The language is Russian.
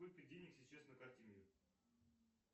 сколько денег сейчас на карте мир